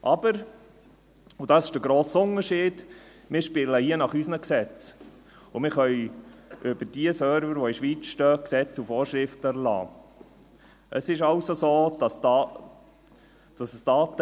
Aber – und das ist der grosse Unterschied – wir spielen hier nach unseren Gesetzen, und wir können über diejenigen Server, die in der Schweiz stehen, Gesetze und Vorschriften erlassen.